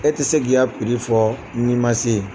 E tɛ se k'i ka n'i ma se yen